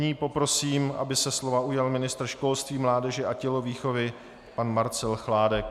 Nyní poprosím, aby se slova ujal ministr školství, mládeže a tělovýchovy pan Marcel Chládek.